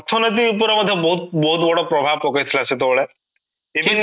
ଉପର ମତେ ବହୁତ ବହୁତ ବଡ ପ୍ରଭାବ ପକେଇଥିଲା ସେତେବେଳେ even ବି ଲୋକ